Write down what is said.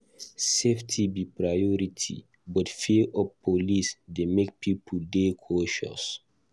Safety suppose be priority, but fear of police dey make pipo dey cautious.